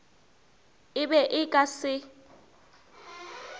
e be e ka se